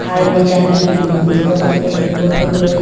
ame chan ki kenu taga tate kao phang rao--